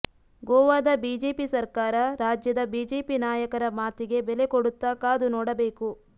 ಗೋವಾದ ಬಿಜೆಪಿ ಸರ್ಕಾರ ರಾಜ್ಯದ ಬಿಜೆಪಿ ನಾಯಕರ ಮಾತಿಗೆ ಬೆಲೆ ಕೊಡುತ್ತಾ ಕಾದು ನೋಡಬೇಕು